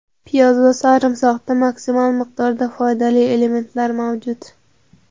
Piyoz va sarimsoqda maksimal miqdorda foydali elementlar mavjud.